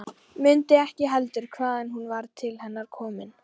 Mundi ekki heldur hvaðan hún var til hennar komin.